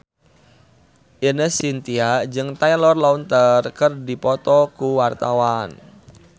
Ine Shintya jeung Taylor Lautner keur dipoto ku wartawan